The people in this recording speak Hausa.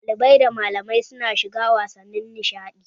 Ɗalibai da malamai su na shiga wasannin nishaɗi